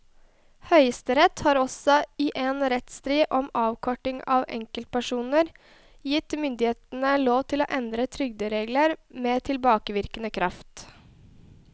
Høyesterett har også i en rettsstrid om avkorting av enkepensjoner gitt myndighetene lov til å endre trygderegler med tilbakevirkende kraft.